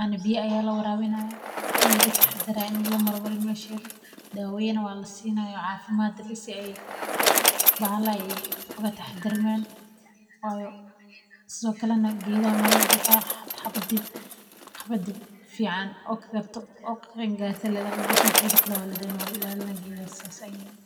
ana biya aya lawarawinaya ana laga taxadaraa waa in lamar marin mesheeda, dawaya waa la sinayaa, cafiimaad bahala oga taxadar man, wayo sithokalatana geedaha lama dadafayo xabada fican oo ka karto oo qeen garto lee laga gosani, xabadi kalee waladayna geedahana sas aya yeli.